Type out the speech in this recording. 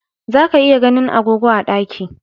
Za ka iya ganin agogo a ɗaki